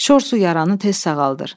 Şor su yaranı tez sağaldır.